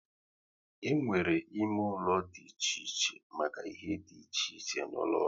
E nwere ime ụlọ dị iche iche make ihe dị iche iche n'ụlọ ọrụ